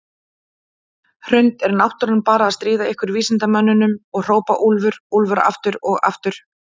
Hrund: Er náttúran bara að stríða ykkur vísindamönnunum og hrópa úlfur, úlfur aftur og aftur?